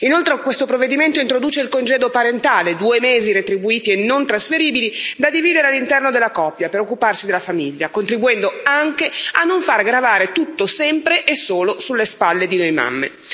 Inoltre, questo provvedimento introduce il congedo parentale, due mesi retribuiti e non trasferibili, da dividere all'interno della coppia per occuparsi della famiglia, contribuendo anche a non far gravare tutto sempre e solo sulle spalle di noi mamme.